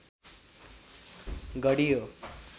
गढी हो